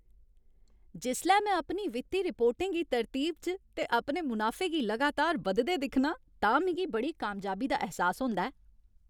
जिसलै में अपनी वित्ती रिपोर्टें गी तरतीब च ते अपने मुनाफे गी लगातार बधदे दिक्खनां तां मिगी बड़ी कामयाबी दा ऐह्सास होंदा ऐ।